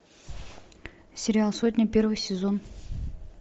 сериал сотня первый сезон